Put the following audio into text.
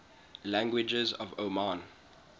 languages of oman